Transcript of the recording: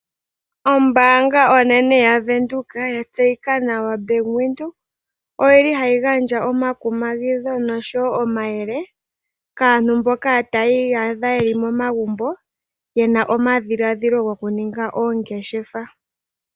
Ombaanga onene yavenduka yatseyika nawa Bank Windhoek, oyili hayi gandja omakumagitho nosho wo omayele kaantu mboka taya iyadha yeli momagumbo yena omadhiladhilo gokuninga oongeshefa.